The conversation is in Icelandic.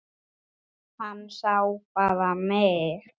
Hann sá bara mig!